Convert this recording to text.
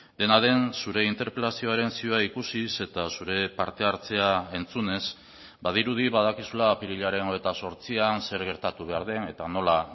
dena den zure interpelazioaren zioa ikusiz eta zure parte hartzea entzunez badirudi badakizula apirilaren hogeita zortzian zer gertatu behar den eta nola